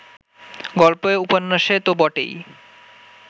গল্পে-উপন্যাসে তো বটেই